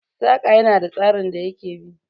Saƙa ya na da tsarin da ya ke bi